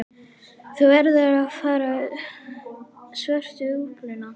Þú verður að fara í svörtu úlpuna.